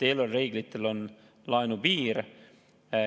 Eelarvereeglitel on laenupiir.